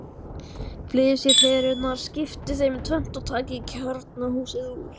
Flysjið perurnar, skiptið þeim í tvennt og takið kjarnahúsið úr.